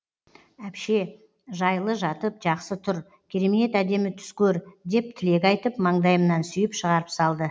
әпше жайлы жатып жақсы тұр керемет әдемі түс көр деп тілек айтып маңдайымнан сүйіп шығарып салды